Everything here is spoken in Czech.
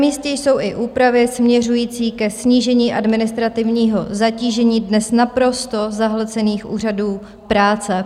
Namístě jsou i úpravy směřující ke snížení administrativního zatížení dnes naprosto zahlcených úřadů práce.